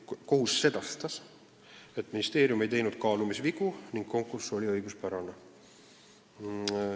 Kohus sedastas, et ministeerium ei teinud kaalumisvigu ning konkurss oli õiguspärane.